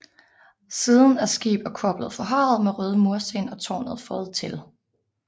Siden er skib og kor blevet forhøjet med røde mursten og tårnet føjet til